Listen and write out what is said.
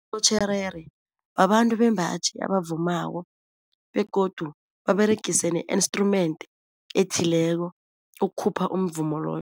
babantu bembaji abavumako begodu baberegise ne-instrument ethileko ukukhupha umvumo loyo.